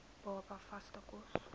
baba vaste kos